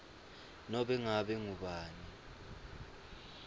nobe ngabe ngubani